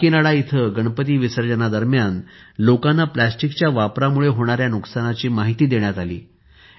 काकीनाडा येथे गणपती विसर्जना दरम्यान लोकांना प्लास्टिकच्या वापरामुळे होणाऱ्या नुकसानाची माहिती देण्यात आली